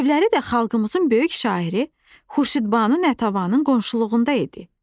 Evləri də xalqımızın böyük şairi Xurşidbanu Natəvanın qonşuluğunda idi.